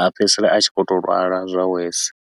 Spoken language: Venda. a fhedzisela a tshi khou tou lwala zwa worse.